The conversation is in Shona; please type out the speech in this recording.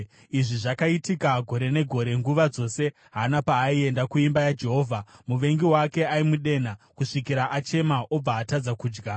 Izvi zvakaitika gore negore. Nguva dzose Hana paaienda kuimba yaJehovha, muvengi wake aimudenha kusvikira achema obva atadza kudya.